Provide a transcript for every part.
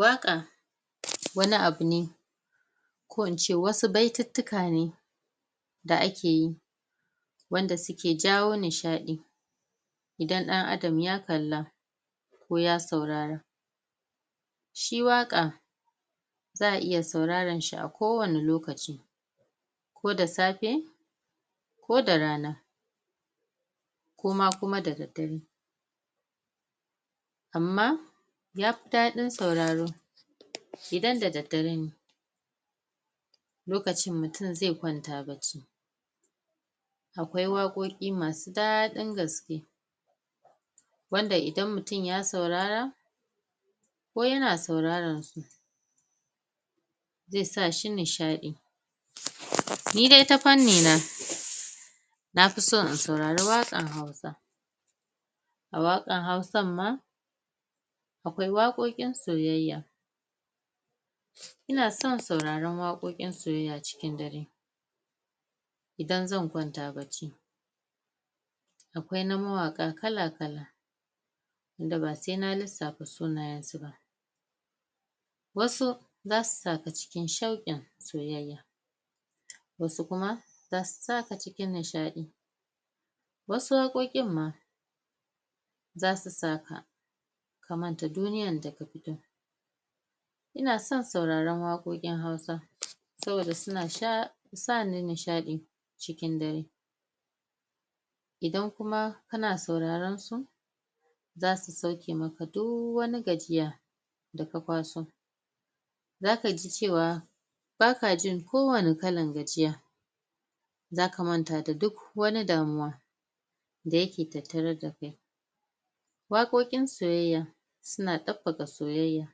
Waƙa wani abu ne ko ince wasu baituttuka ne da akeyi wanda suke jawo nishaɗi idan ɗan adam ya kalla ko ya saurara shi waƙa za a iya sauraran sa a ko wani lokaci ko da safe Ko da rana ko ma kuma da daddare amma ya fi daɗin sauraro idan da daddare ne lokacin mutum zai kwanta bacci akwai waƙoƙi masu daɗin gaske wanda idan mutum ya saurara ko yana sauraran su zai sa shi nishaɗi ni dai ta fanni na nafi so in sauari waƙan hausa a waƙan hausan ma akwai waƙoƙin soyayya ina son sauraron waƙoin soyayya da daddare idan zan kwanta bacci akwai na mawaƙa kala-kala wanda ba sai na lissafa sunayensu ba wasu zasu sa ka cikin shauƙin soyayya wasu kuma zasu sa ka cikin nishaɗi wasu waƙoƙon ma zasu sa ka ka manta duniyan da ka fito ina son sauraron waƙoƙin hausa saboda suna sa ni nishaɗi cikin dare idan kuma kana sauraronsu zasu sauke maka duk wani gajiya da ka kwaso zaka ji cewa baka jin ko wani kalan gajiya zaka manta da duk wani damuwa wanda yake tattare da kai waƙoƙin soyayya suna soyayya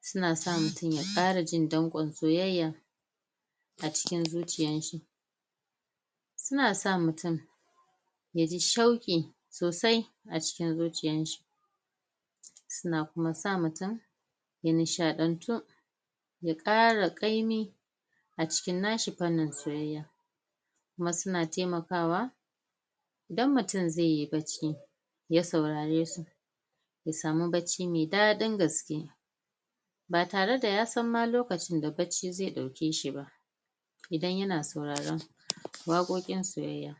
suna sa mutum ya ƙara jin danƙon soyayya a cikin zuciyan shi suna sa mutum ya ji shauƙi sosai a cikin zuciyanshi suna kuma sa mutum ya nishaɗantu ya ƙara ƙaimi a cikin nashi fannin soyayyan kuma suna taimakawa idan mutum zai yi bacci ya saurare su ya samu bacci mai daɗin gaske ba tare da ya san ma lokacin da bacci zai ɗauke shi ba idan yana sauraron waƙoƙin soyayya